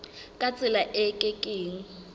ka tsela e ke keng